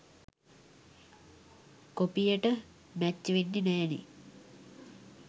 කොපියට match වෙන්නෙ නෑනේ